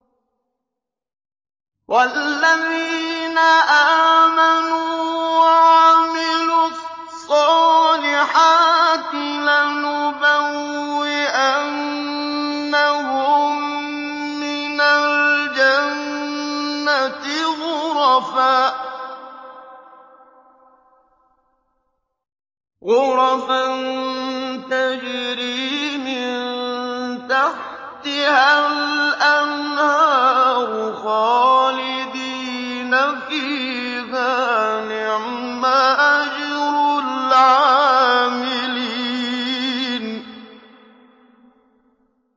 وَالَّذِينَ آمَنُوا وَعَمِلُوا الصَّالِحَاتِ لَنُبَوِّئَنَّهُم مِّنَ الْجَنَّةِ غُرَفًا تَجْرِي مِن تَحْتِهَا الْأَنْهَارُ خَالِدِينَ فِيهَا ۚ نِعْمَ أَجْرُ الْعَامِلِينَ